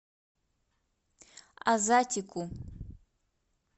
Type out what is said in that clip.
азатику